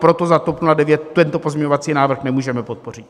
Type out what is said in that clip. Proto za TOP 09 tento pozměňovací návrh nemůžeme podpořit.